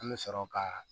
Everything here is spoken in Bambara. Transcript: An bɛ sɔrɔ ka